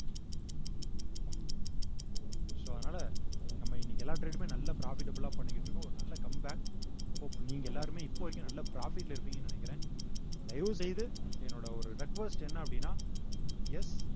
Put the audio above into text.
so அதனால நம்ம இன்னைக்கு எல்லா trade மே நல்லா profitable ஆ பண்ணிக்கிட்டிருக்கோம் ஒரு நல்ல come back so இப்ப நீங்க எல்லாருமே இப்ப வரைக்கும் நல்ல profit ல இருப்பீங்கன்னு நினைக்கிறேன் தயவு செய்து என்னோட ஒரு request என்ன அப்படின்னா yes